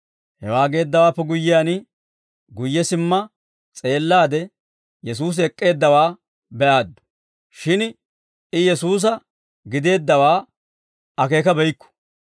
Hewaa geeddawaappe guyyiyaan, guyye simma s'eellaade, Yesuusi ek'k'eeddawaa be"aaddu. Shin I Yesuusa gideeddawaa akeekabeyikku.